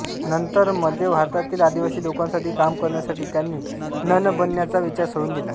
नंतर मध्य भारतातील आदिवासी लोकांसाठी काम करण्यासाठी त्यांनी नन बनण्याचा विचार सोडून दिला